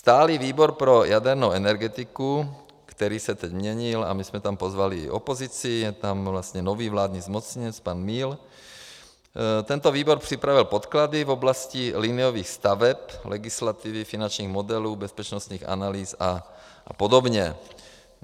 Stálý výbor pro jadernou energetiku, který se teď měnil, a my jsme tam pozvali i opozici, je tam vlastně nový vládní zmocněnec, pan Míl, tento výbor připravil podklady v oblasti liniových staveb, legislativy, finančních modelů, bezpečnostních analýz a podobně.